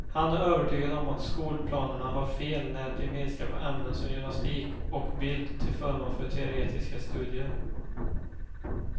Han är övertygad om att skolplanerarna har fel när de minskar på ämnen som gymnastik och bild till förmån för teoretiska studier.